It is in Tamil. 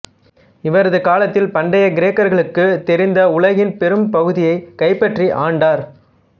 இவரது காலத்தில் பண்டைய கிரேக்கர்களுக்குத் தெரிந்த உலகின் பெரும் பகுதியைக் கைப்பற்றி ஆண்டார்